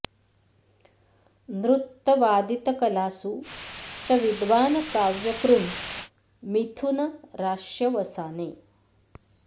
नृत्त वादित कलासु च विद्वान् काव्य कृन् मिथुनराश्यवसाने